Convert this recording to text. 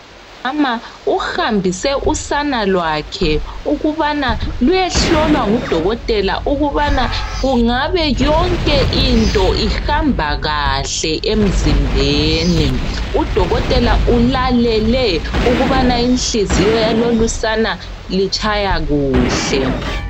Umama uhambise usana lwakhe ukubana luyehlolwa ngudokotela ukubana kungabe yonke into ihamba kahle emzimbeni .Udokotela ulalele ukubaa inhliziyo yalolusana itshaya kuhle.